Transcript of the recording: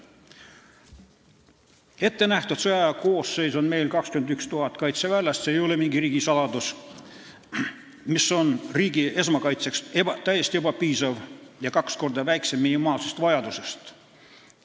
Ettenähtud sõjaaja koosseis on meil 21 000 kaitseväelast – see ei ole mingi riigisaladus –, mis on riigi esmakaitseks täiesti ebapiisav ja kaks korda väiksem minimaalsest vajadusest.